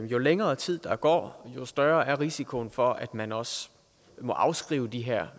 jo længere tid der går jo større er risikoen for at man også må afskrive de her